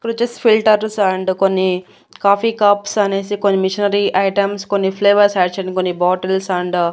ఇకడొచేసి filters and కొన్ని coffee cups అనేసి కొన్ని మిషనరీ ఐటమ్స్ కొన్ని ఫ్లేవర్స్ యాడ్ చేయడానికి కొన్ని బాటిల్స్ అండ్ --